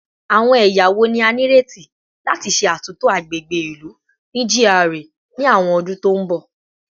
Awọn ẹya wo ni a nireti lati ṣe atunto agbegbe ilu ni GRA ni awọn ọdun to n bọ?